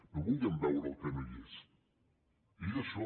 no vulguem veure el que no és és això